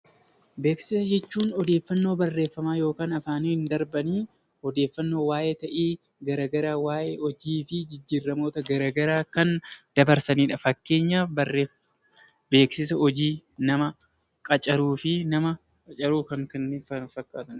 Beeksisa jechuun odeeffannoo afaaniin darbanii odeeffannoo waayee ta'ii garaagaraa waayee sochii fi jijjiiramoota garaagaraa kan dabarsanidha. Fakkeenyaaf beeksisa hojii nama qacaruu fi kan kana fakkaatan